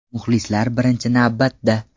Muxlislar birinchi navbatda.